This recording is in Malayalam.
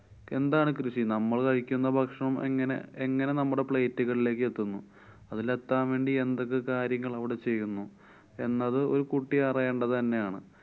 എന്താണ് കൃഷി? നമ്മള് കഴിക്കുന്ന ഭക്ഷണം എങ്ങനെ~ എങ്ങനെ നമ്മുടെ plate കളിലേക്കെത്തുന്നു. അതിലെത്താന്‍ വേണ്ടി എന്തൊക്കെ കാര്യങ്ങള്‍ അവിടെ ചെയ്യുന്നു? എന്നത് ഒരു കുട്ടി അറിയേണ്ടത് തന്നെയാണ്.